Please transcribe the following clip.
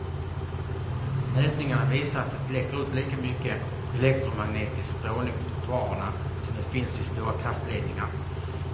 Mätningarna visar att det läcker ut lika mycket elektromagnetisk strålning på trottoarerna som det finns vid stora kraftledningar.